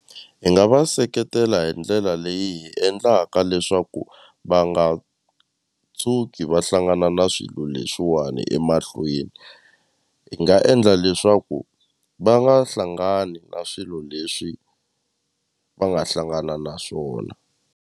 Hi nga va seketela hi ndlela leyi hi endlaka leswaku va nga tshuki va hlangana na swilo leswiwani emahlweni hi nga endla leswaku va nga hlangani na swilo leswi va nga hlangana na swona.